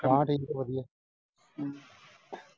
ਠੀਕ ਸੀ ਵਧੀਆ